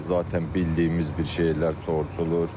Zatən bildiyimiz bir şeylər soruşulur.